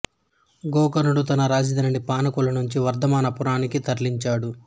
గోకర్ణుడు తన రాజధానిని పానగల్లు నుంచి వర్థమాన పురానికి తరలించాడు